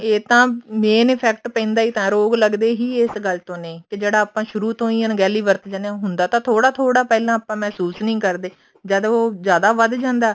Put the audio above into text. ਇਹ ਤਾਂ main effect ਪੈਂਦਾ ਹੀ ਤਾਂ ਰੋਗ ਲੱਗਦੇ ਹੀ ਇਸ ਗੱਲ ਤੋਂ ਨੇ ਕੇ ਜਿਹੜਾ ਆਪਾਂ ਸ਼ੁਰੂ ਤੋਂ ਹੀ ਅਣਗਹਿਲੀ ਵਰਤ ਜਾਂਦੇ ਆ ਹੁੰਦਾ ਤਾਂ ਥੋੜਾ ਥੋੜਾ ਪਹਿਲਾਂ ਆਪਾਂ ਮਹਿਸੂਸ ਨੀ ਕਰਦੇ ਜਦ ਉਹ ਜਿਆਦਾ ਵਧ ਜਾਂਦਾ